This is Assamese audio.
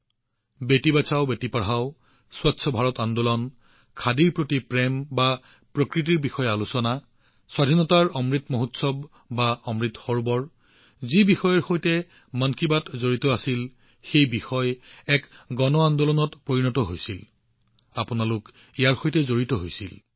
বেটি বচাও বেটি পঢ়াও বা স্বচ্ছ ভাৰত আন্দোলন খাদীৰ প্ৰতি প্ৰেম বা প্ৰকৃতিৰ বিষয়েই হওক আজাদী কা অমৃত মহোৎসৱ হওক বা অমৃত সৰোবৰেই হওক যি বিষয়ৰ সৈতে মন কী বাত জড়িত হৈছিল প্ৰতিটোৱেই এক গণ আন্দোলনলৈ পৰিণত হৈছিল আৰু আপোনালোকে এয়া সম্ভৱ কৰি তুলিছে